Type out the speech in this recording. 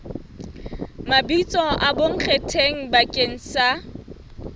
mabitso a bonkgetheng bakeng sa